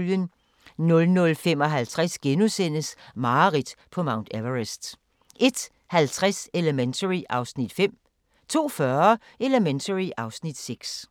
00:55: Mareridt på Mount Everest * 01:50: Elementary (Afs. 5) 02:40: Elementary (Afs. 6)